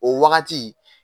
O wagati